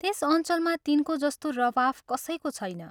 त्यस अञ्चलमा तिनको जस्तो रवाफ कसैको छैन।